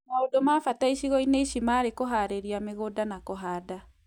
Maũndũ ma bata icigo-inĩ ici marĩ kũharĩria mĩgũnda na kũhanda